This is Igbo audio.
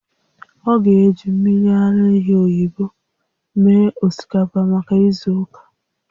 Ọ ga-eji mmiri ara ehi oyibo mee osikapa maka izu ụka